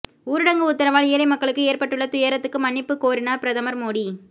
ஊரடங்கு உத்தரவால் ஏழைமக்களுக்கு ஏற்பட்டுள்ள துயரத்துக்கு மன்னிப்பு கோரினார் பிரதமர் மோடி